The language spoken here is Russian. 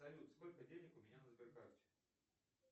салют сколько денег у меня на сберкарте